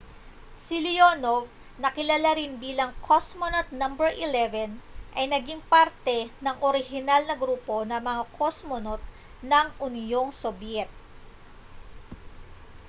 si leonov na kilala rin bilang cosmonaut no 11 ay naging parte ng orihinal na grupo ng mga kosmonot ng unyong sobyet